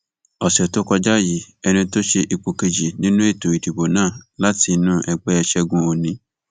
ọsẹ tó kọjá yìí ẹni tó ṣe ipò kejì nínú ètò ìdìbò náà láti inú ẹgbẹ ṣẹgun òní